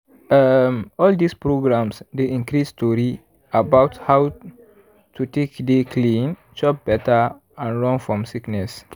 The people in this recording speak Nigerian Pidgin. erm all dis programs dey increase tori about how to take dey clean chop better and run fom sickness.